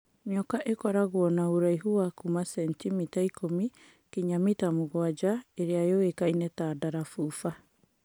Nyoka īkoragwo na ūraihu wa kuuma centimita ikũmi nginya mita mũgwanja īrīa yũĩkaine ta Ndarafufua.